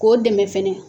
K'o dɛmɛ fɛnɛ